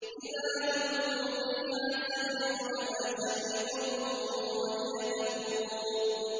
إِذَا أُلْقُوا فِيهَا سَمِعُوا لَهَا شَهِيقًا وَهِيَ تَفُورُ